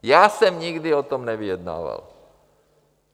Já jsem nikdy o tom nevyjednával.